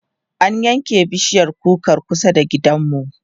an yanke bishiyar kukar kusa da gidanmu